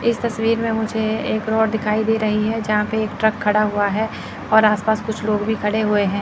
इस तस्वीर में मुझे एक रोड दिखाई दे रही है जहां पे एक ट्रक खड़ा हुआ है और आसपास कुछ लोग भी खड़े हुए हैं।